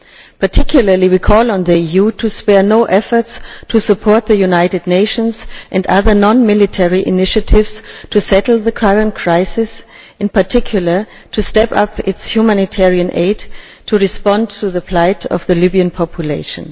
In particular we call on the EU to spare no efforts to support the United Nations and other non military initiatives to settle the current crisis in particular and to step up its humanitarian aid to respond to the plight of the Libyan population.